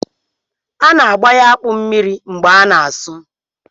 A na-abanye akpụ mmiri mgbe a na-asụ